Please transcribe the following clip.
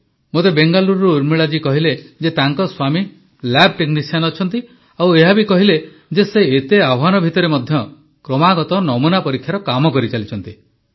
ମୋତେ ବେଙ୍ଗାଲୁରୁରୁ ଉର୍ମିଳା ଜୀ କହିଲେ ଯେ ତାଙ୍କ ସ୍ୱାମୀ ଲ୍ୟାବ୍ ଟେକ୍ନିସିଆନ୍ ଅଛନ୍ତି ଆଉ ଏହା ବି କହିଲେ ଯେ ସେ ଏତେ ଆହ୍ୱାନ ଭିତରେ ମଧ୍ୟ କ୍ରମାଗତ ନମୁନା ପରୀକ୍ଷାର କାମ କରିଚାଲିଛନ୍ତି